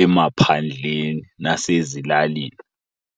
emaphandleni nasezilalini.